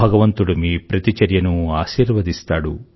భగవంతుడు మీ ప్రతి చర్యను ఆశీర్వదిస్తాడు